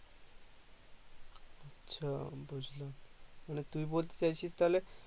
আচ্ছা বুজলাম মানে তুই বলতে চাইছি তাহলে